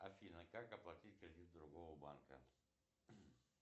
афина как оплатить кредит другого банка